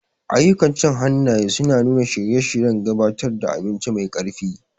Ayyukan cin hannaye suna nuna shirye-shiryen gabatar da abinci mai ƙarfi.